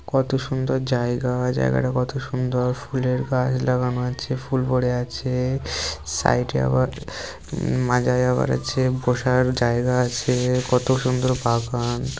কত সুন্দর জায়গা জায়গাটা কত সুন্দর ফুলের গাছ লাগানো আছে ফুল পড়ে আছে সাইডে আবার মাঝে যাওয়ার আছে বসার জায়গা আছে-- কত সুন্দর বাগান--